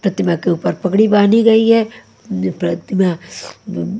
प्रतिमा के ऊपर पगड़ी बांधी गई है। प्रतिमा--